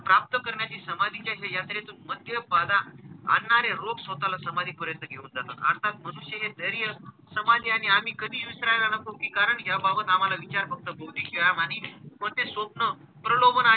प्राप्त करण्याची समाधीच्या या यात्रेतून मद्य बाधा आणणारे रोग स्वतःला समाधी पर्यंत घेऊन जातात. अर्थात मनुष्य हे धैर्य समाधी आणि आम्ही कधी विसरायला नको की कारण याबाबाबत आम्हाला विचार फक्त बौद्धिक व्यायाम आणि कोणते स्वप्न प्रलोभनाचे,